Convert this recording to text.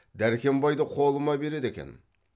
дәркембайды қолыма береді екен